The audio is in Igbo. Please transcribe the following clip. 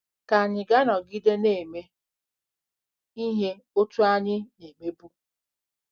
Ka ànyị na-anọgide na-eme ihe otú ahụ anyị na-emebu?